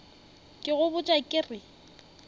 ke go botša ke re